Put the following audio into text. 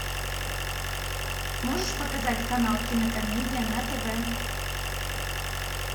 можешь показать канал кинокомедия на тв